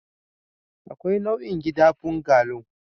Akwai nau'in gidan bungalow